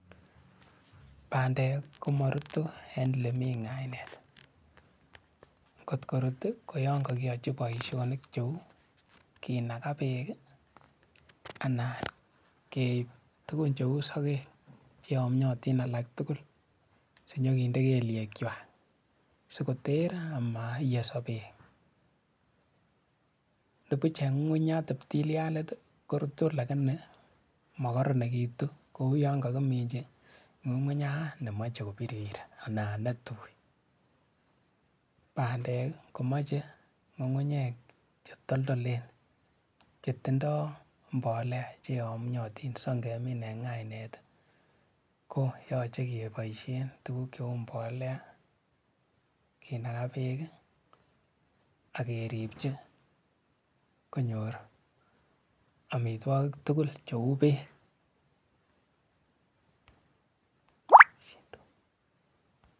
Bandek ko marutu eng lemi ng'aenet. Kot ko rutu ko yon ko ki yachi boisionik cheu kenaga beek, anan keib tugun cheu sokek che yamiotin alak tugul sinyo kende kelyechwa siko ter ama ye sobe, nebuch eng ng'ung'unyat teptillianit ko rutu lakini makaranekitu kou yan kakiminchi ng'ung'unyat nemach ko birir nanaitui. Bandek ko mache ng'ung'unyek che toldolen che tindoi mbolea che yamiotin si ngemin eng ng'aenet ko yoche ke boisien tuguk cheu mbolea, kenaga beek akeribchi konyor amitwogik tugul cheuu beek.